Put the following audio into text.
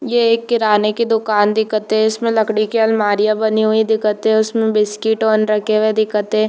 ये एक किराने की दुकान दिखथे इसमें लकड़ी की आलमारिया बनी हुई दिखथे उसमे बिस्किटवान मन रखे हुए दिखथे।